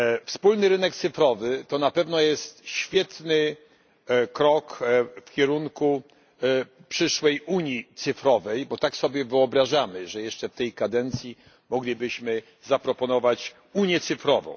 Wspólny rynek cyfrowy to na pewno jest świetny krok w kierunku przyszłej unii cyfrowej, bo tak sobie wyobrażamy, że jeszcze w tej kadencji moglibyśmy zaproponować unię cyfrową.